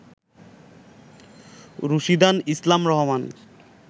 Rushidan Islam Rahman